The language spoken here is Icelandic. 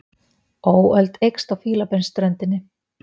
Óöld eykst á Fílabeinsströndinni